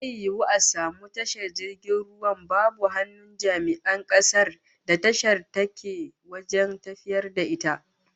Zai yiwu a samu tashar jirgin ruwa babu hannun jami'an kasar da tashar take wajen tafiyar da ita?